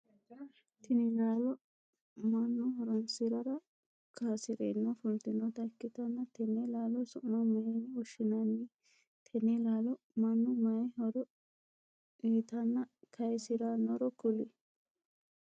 Tinni laalo mannu horoonsirara kaasireenna fultanota ikitanna tenne laallo su'ma mayinne woshinnanni? Tenne laallo mannu mayi horo uyitanna kayisiranoro kuli?